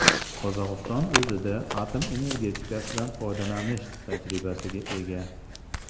Qozog‘iston o‘zida atom energetikasidan foydalanish tajribasiga ega.